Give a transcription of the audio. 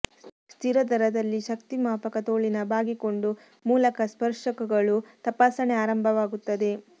ಸ್ಥಿರ ದರದಲ್ಲಿ ಶಕ್ತಿ ಮಾಪಕ ತೋಳಿನ ಬಾಗಿಕೊಂಡು ಮೂಲಕ ಸ್ಪರ್ಶಕಗಳು ತಪಾಸಣೆ ಆರಂಭವಾಗುತ್ತದೆ